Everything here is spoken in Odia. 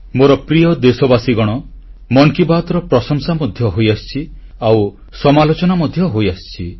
ମୋର ପ୍ରିୟ ଦେଶବାସୀଗଣ ମନ୍ କି ବାତ୍ର ପ୍ରଶଂସା ମଧ୍ୟ ହୋଇଆସିଛି ଆଉ ସମାଲୋଚନା ମଧ୍ୟ ହୋଇଆସିଛି